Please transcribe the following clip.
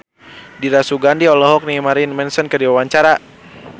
Dira Sugandi olohok ningali Marilyn Manson keur diwawancara